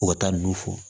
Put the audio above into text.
U ka taa nun fɔ